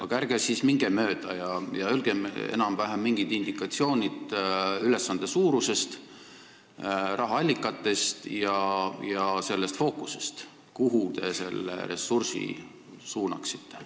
Aga ärge siis minge mööda ja öelge enam-vähem mingid indikatsioonid ülesande suuruse, rahaallikate ja selle fookuse kohta, kuhu te selle ressursi suunaksite.